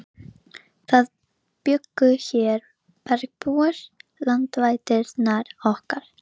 Jóru lá við gráti af vonbrigðum.